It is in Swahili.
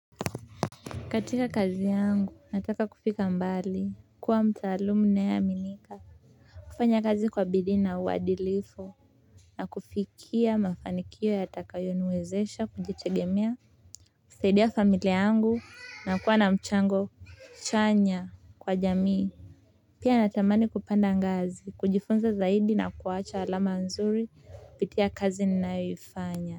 Katika kazi yangu nataka kufika mbali. Kuwa mtaalamu ninayeaminika. Kufanya kazi kwa bidii na uadilifu. Na kufikia mafanikio yatakayoniwezesha kujitegemea. Kusaidia familia yangu na kuwa na mchango chanya kwa jamii. Pia natamani kupanda ngazi, kujifunza zaidi na kuwacha alama nzuri, kupitia kazi ninayoifanya.